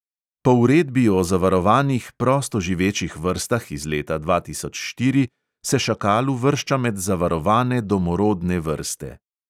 Po uredbi o zavarovanih prosto živečih vrstah iz leta dva tisoč štiri se šakal uvršča med zavarovane domorodne vrste.